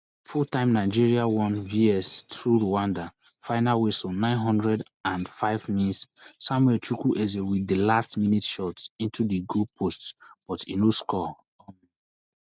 fulltime nigeria one vs two rwanda final whistle nine hundred and fivemins samuel chukwueze wit di last minute shot into di goal post but e no score